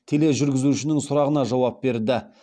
тележүргізушінің сұрағына жауап берді